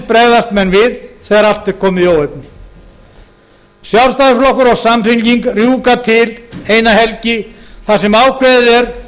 bregðast menn við þegar allt er komið í óefni sjálfstæðisflokkur og samfylking rjúka til eina helgi þar sem ákveðið er